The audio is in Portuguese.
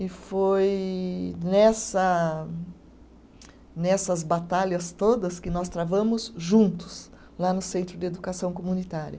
E foi nessa nessas batalhas todas que nós travamos juntos lá no Centro de Educação Comunitária.